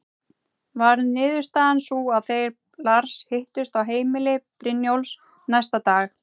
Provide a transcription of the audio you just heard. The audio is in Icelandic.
Varð niðurstaðan sú að þeir Lars hittust á heimili Brynjólfs næsta dag.